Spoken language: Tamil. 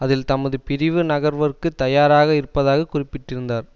அதில் தமது பிரிவு நகர்வற்கு தயாராக இருப்பதாக குறிப்பிட்டிருந்தார்